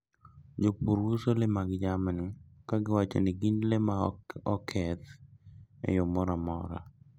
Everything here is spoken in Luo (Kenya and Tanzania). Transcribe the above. Jopur uso le mag jamni ka giwacho ni gin le ma ok oketh e yo moro amora.